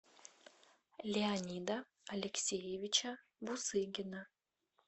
леонида алексеевича бусыгина